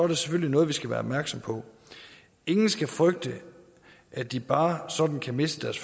det selvfølgelig noget vi skal være opmærksom på ingen skal frygte at de bare sådan kan miste deres